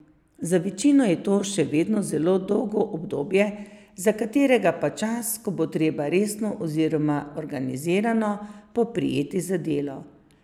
Za večino je to še vedno zelo dolgo obdobje, za nekatere pa čas, ko bo treba resno, oziroma organizirano poprijeti za delo.